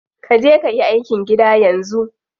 Kaje kayi aikin gida yanzu.